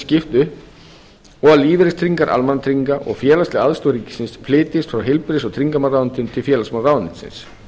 skipt upp og lífeyristryggingar almannatrygginga og félagsleg aðstoð ríkisins flytjist frá heilbrigðis og tryggingamálaráðuneyti til félagsmálaráðuneytisins